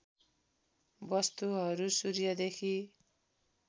वस्तुहरू सूर्यदेखि